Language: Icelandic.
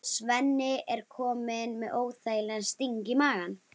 Svenni er kominn með óþægilegan sting í magann.